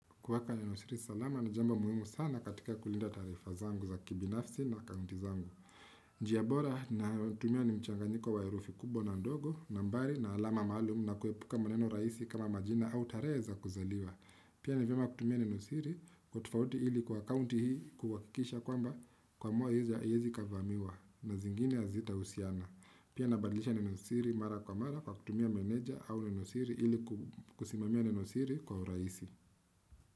Kueka Nenosiri salama na jambo muhimu sana katika kulinda taarifa zangu za kibinafsi na akaunti zangu. Njia bora natumia ni mchanganyiko wa herufi kubwa na ndogo, nambari na alama maalum na kuepuka maneno rahisi kama majina au tarehe za kuzaliwa. Pia ni vyema kutumia Nenosiri kwa utofauti ili kwa akaunti hii kuhakikisha kwamba kuamuwa haiyezi ikavamiwa na zingine hazita usiana. Pia nabadlisha Nenosiri mara kwa mara kwa kutumia menedja au Nenosiri ili kusimamia Nenosiri kwa urahisi.